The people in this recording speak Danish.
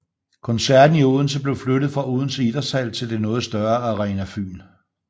Koncerten i Odense blev flyttet fra Odense Idrætshal til det noget større Arena Fyn